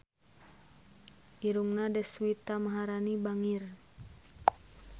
Irungna Deswita Maharani bangir